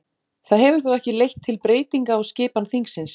Það hefur þó ekki leitt til breytinga á skipan þingsins.